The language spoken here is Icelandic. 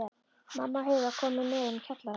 Mamma og Heiða komu neðan úr kjallara.